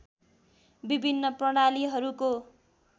विभिन्न प्रणालीहरूको